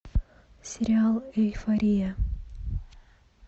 сериал эйфория